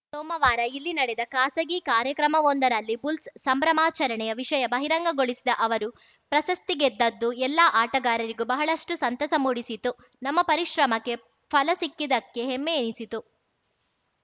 ಸೋಮವಾರ ಇಲ್ಲಿ ನಡೆದ ಖಾಸಗಿ ಕಾರ್ಯಕ್ರಮವೊಂದರಲ್ಲಿ ಬುಲ್ಸ್‌ ಸಂಭ್ರಮಾಚರಣೆಯ ವಿಷಯ ಬಹಿರಂಗಗೊಳಿಸಿದ ಅವರು ಪ್ರಶಸ್ತಿ ಗೆದ್ದದ್ದು ಎಲ್ಲಾ ಆಟಗಾರರಿಗೂ ಬಹಳಷ್ಟುಸಂತಸ ಮೂಡಿಸಿತು ನಮ್ಮ ಪರಿಶ್ರಮಕ್ಕೆ ಫಲ ಸಿಕ್ಕಿದ್ದಕ್ಕೆ ಹೆಮ್ಮೆ ಎನಿಸಿತು